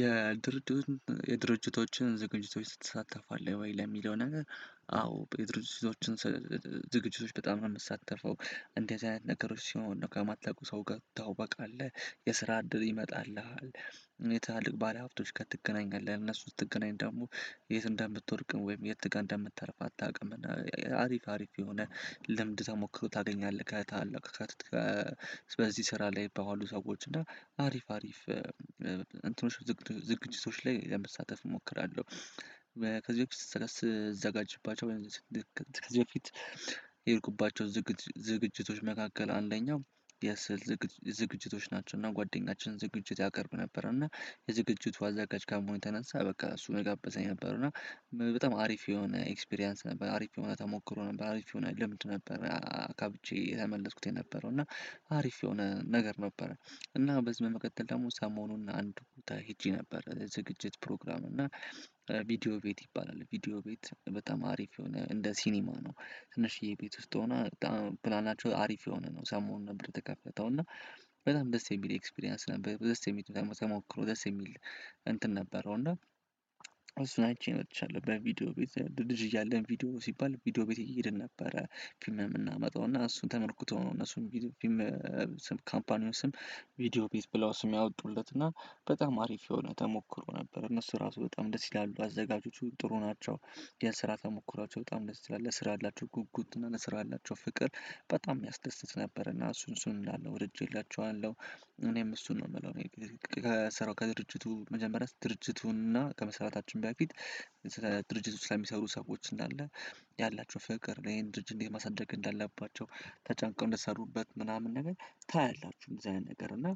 የድርጅቶችን ዝግጅቶችን ስትሳተፍ አለ? ወይ ለሚለው ነገር አዎ ድርጅቶችን ዝግጅቶች በጣም ነው እምሳተፈው እንደዚህ አይነት ነገሮች ሲሆን ነው ከማታውቀው ሰው ጋር ትተዋወቃለህ የስራ እድል ይመጣልሃል። ትላልቅ ባለሀብቶች ጋር ትገናኛለህ እነሱ ስትገናኝ ደግሞ የት እንደምትወድቅ ወይም የት ጋር እንደምታርፍ አታውቅም እና አሪፍ አሪፍ የሆነ ልምድ ተሞክሮ ታገኛለህ። ከታላላቅ በዚህ ስራ ላይ ይገባባሉ ሰዎች እና አሪፍ አሪፍ እንትኖች ዝግጅቶች ላይ ለመሳተፍ እሞክራለሁ። ከዚህ በፊት ስትዘጋጅባቸው ከዚህ በፊት የሄድኩባቸው ዝግጅቶች መካከል አንደኛው የስዕል ዝግጅቶች ናቸው። እና ጓደኛችን ዝግጅት ያቀርብ ነበር እና የዝግጅቱ አዘጋጅ ከመሆኑ የተነሳ በቃ እሱ ነው የጋበዘኝ የነበረው እና በጣም አሪፍ የሆነ ኤክስፒሪያንስ ነበር። አሪፍ የሆነ ተሞክሮ ነበር አሪፍ የሆነ ልምድ ነበረ አካብቼ የተመለስኩት የነበረው እና አሪፍ የሆነ ነገር ነበረ። እና በዚህ በመቀጠል ደግሞ ሰሞኑን አንድ ቦታ ሄጄ ነበር ዝግጅት ፕሮግራም እና ቪዲዮ ቤት ይባላል። ቪዲዮ ቤት በጣም አሪፍ የሆነ እንደ ሲኒማ ነው። ትንሽዬ ቤት ውስጥ ሆና በጣም ፕላናቸው አሪፍ የሆነ ነው ሰሞኑን ነበር የተከፈተው እና በጣም ደስ የሚል ኤክስፒሪያንስ ነበር። ደስ የሚል ተሞክሮ ደስ የሚል እንትን ነበረው እና እሱን አይቼ መጥቻለው። በቪዲዮ ቤት ልጅ እያለን ቪዲዮ ሲባል ቪዲዮ ቤት እየሄድን ነበረ ፊልም የምናመጣው እና እሱን ተመርኩዘው ነው። እነሱም ቪዲዮ ስም ካምፓኒውን ስም ቪዲዮ ቤት ብለው ስም ያወጡለት እና በጣም አሪፍ የሆነ ተሞክሮ ነበር። እነሱ ራሱ በጣም ደስ ይላሉ አዘጋጆቹ ጥሩ ናቸው። የስራ ተሞክሯቸው በጣም ደስ ይላል ለስራ ያላቸው ጉጉት እና ለስራ ያላቸው ፍቅር በጣም የሚያስደስት ነበር። እና እሱን እሱን እንዳለ ወድጄላቸዋለሁ። እኔም እሱን ነው የምለው እኔ ከስራው ከድርጅቱ መጀመሪያ ድርጅቱን እና ከመስራታችን በፊት ድርጅት ውስጥ ለሚሰሩ ሰዎች እንዳለ ያላቸው ፍቅር ይሄን ድርጅት እንዴት ማሳደግ እንዳለባቸው ተጨንቀው እንደሰሩበት ምናምን ነገር ታያላችሁ። እንደዚህ አይነት ነገር እና